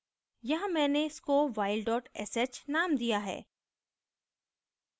यहाँ मैने इसको while sh named दिया है